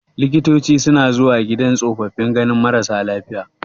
Likitoci suna zuwa gidan tsofaffi ganin marasa lafiya.